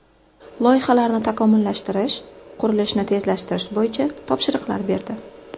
Loyihalarni takomillashtirish, qurilishni tezlashtirish bo‘yicha topshiriqlar berdi.